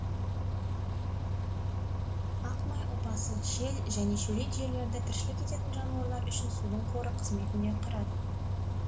ақ май ұлпасы шел жене шөлейт жерлерде тіршілік ететін жануарлар үшін судың қоры қызметін де атқарады